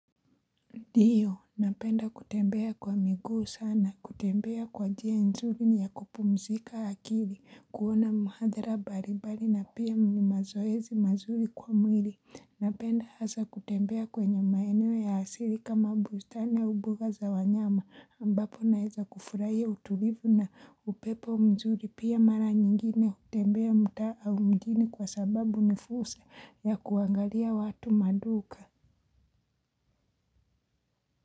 Diyo, napenda kutembea kwa miguu sana, kutembea kwa njia nzuri ni ya kupumzika akili, kuona muhadhara baribali na pia mni mazoezi mazuri kwa mwili. Napenda hasa kutembea kwenye maeneo ya hasili kama bustani ua buga za wanyama ambapo naeza kufurahia utulivu na upepo mzuri pia mara nyingine kutembea mtaa au mjini kwa sababu nifursa ya kuangalia watu maduka.